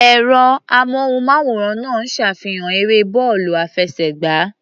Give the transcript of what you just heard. Ẹ̀rọ-amóhùnmáwòrán náà ń ṣàfihàn eré bọ́ọ̀lù àfẹsẹ̀gbá.